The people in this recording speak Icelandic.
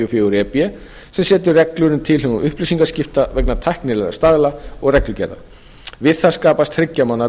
fjögur e b sem setur reglur um tilhögun upplýsingaskipta vegna tæknilegra staðla og reglugerða við það skapast þriggja mánaða